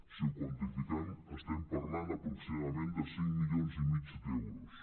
si ho quantifiquem estem par·lant aproximadament de cinc milions i mig d’euros